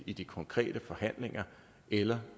i de konkrete forhandlinger eller